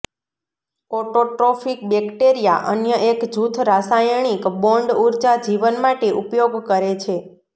autotrophic bacteria અન્ય એક જૂથ રાસાયણિક બોન્ડ ઊર્જા જીવન માટે ઉપયોગ કરે છે